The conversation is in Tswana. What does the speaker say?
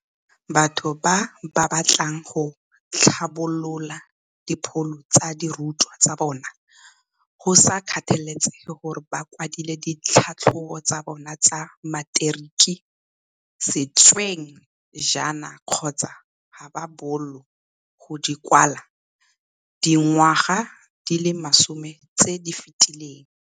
Batho ba ba batlang go tlhabolola dipholo tsa dirutwa tsa bona, go sa kgathalesege gore ba kwadile ditlhatlhobo tsa bona tsa materiki sešweng jaana kgotsa ga ba boolo go di kwala dingwaga di le masome tse di fetileng.